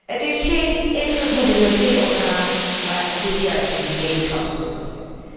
Het is geen intergouvernementeel orgaan, maar het hanteert juist de gemeenschapsmethode.